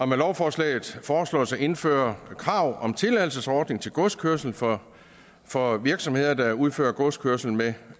med lovforslaget foreslås det at indføre krav om en tilladelsesordning til godskørsel for for virksomheder der udfører godskørsel med